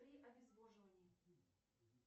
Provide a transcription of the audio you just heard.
при обезвоживании